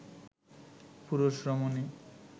পুরুষ রমণী